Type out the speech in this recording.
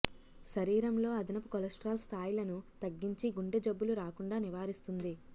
శరీరంలో అదనపు కొలెస్ట్రాల్ స్థాయులను తగ్గించి గుండె జబ్బులు రాకుండా నివారిస్తుంది